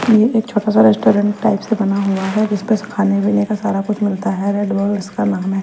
यह एक छोटा सा रेस्टोरेंट टाइप से बना हुआ है जिस पे खाने पीने का सारा कुछ मिलता है रेड वर्ल्ड उसका नाम है।